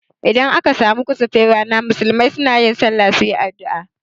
Idan aka samu kusufin rana, musulmai sunayin sallah suyi addua